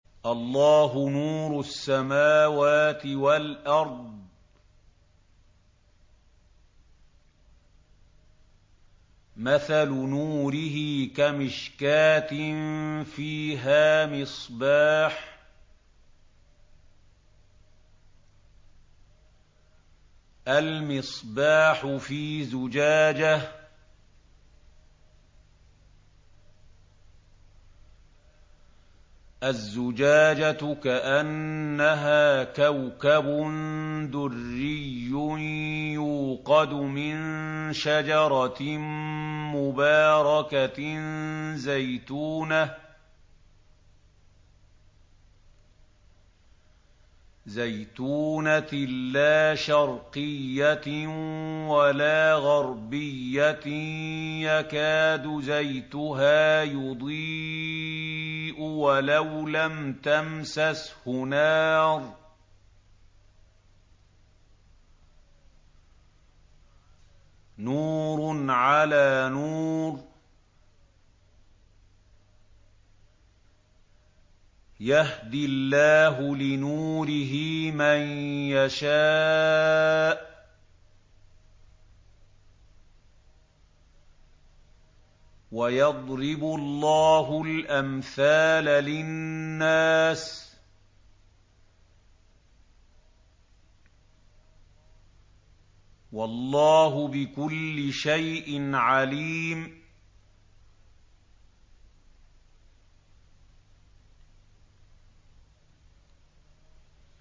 ۞ اللَّهُ نُورُ السَّمَاوَاتِ وَالْأَرْضِ ۚ مَثَلُ نُورِهِ كَمِشْكَاةٍ فِيهَا مِصْبَاحٌ ۖ الْمِصْبَاحُ فِي زُجَاجَةٍ ۖ الزُّجَاجَةُ كَأَنَّهَا كَوْكَبٌ دُرِّيٌّ يُوقَدُ مِن شَجَرَةٍ مُّبَارَكَةٍ زَيْتُونَةٍ لَّا شَرْقِيَّةٍ وَلَا غَرْبِيَّةٍ يَكَادُ زَيْتُهَا يُضِيءُ وَلَوْ لَمْ تَمْسَسْهُ نَارٌ ۚ نُّورٌ عَلَىٰ نُورٍ ۗ يَهْدِي اللَّهُ لِنُورِهِ مَن يَشَاءُ ۚ وَيَضْرِبُ اللَّهُ الْأَمْثَالَ لِلنَّاسِ ۗ وَاللَّهُ بِكُلِّ شَيْءٍ عَلِيمٌ